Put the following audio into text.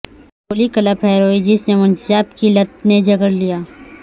Napoli club hero ہیرو جسے منشیات کی لت نے جکڑ لیا